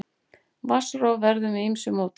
Vatnsrof verður með ýmsu móti.